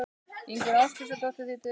Ingunn Ásdísardóttir þýddi.